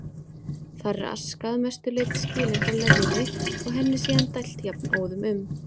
Þar er aska að mestu leyti skilin frá leðjunni og henni síðan dælt jafnóðum um